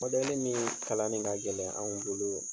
ni kalan ne ka gɛlɛn anw bolo